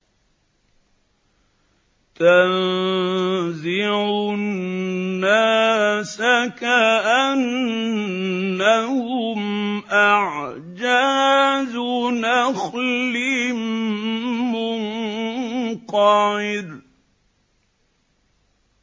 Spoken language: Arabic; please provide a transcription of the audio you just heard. تَنزِعُ النَّاسَ كَأَنَّهُمْ أَعْجَازُ نَخْلٍ مُّنقَعِرٍ